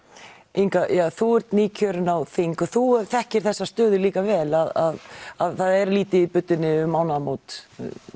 Inga þú ert nýkjörin á þing og þú þekkir þessa stöðu líka vel að það er lítið í buddunni um mánaðamót